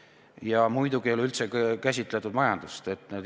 Ja muidugi ei ole üldse käsitletud majandust.